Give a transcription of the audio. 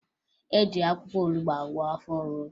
E ji akwụkwọ olubo agwọ afọ ọrụrụ